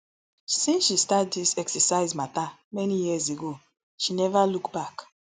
since she start dis exercise mata many years ago she neva look back